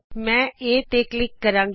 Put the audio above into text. ਮੈਂ Aਤੇ ਕਲਿਕ ਕਰਾਂਗੀ